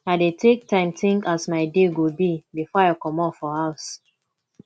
i dey take time tink as my day go be before i comot for house